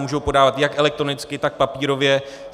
Můžou podávat jak elektronicky, tak papírově.